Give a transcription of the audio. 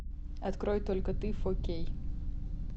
открой только ты фо кей